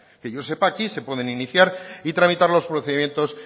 que yo sepa aquí se pueden iniciar y tramitar los procedimientos